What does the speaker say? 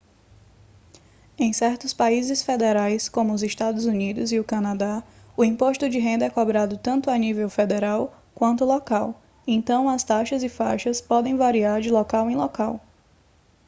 em certos países federais como os eua e o canadá o imposto de renda é cobrado tanto à nível federal quanto local então as taxas e faixas podem variar de local em local